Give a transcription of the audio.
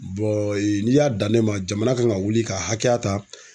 n'i y'a dan ne ma jamana kan ka wuli ka hakɛya ta